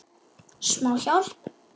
Smá hjálp.